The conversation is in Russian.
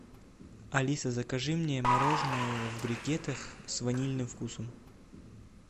алиса закажи мне мороженое в брикетах с ванильным вкусом